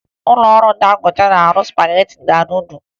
Ụlọọrụ Dangote na-arụ spagetị na nudụ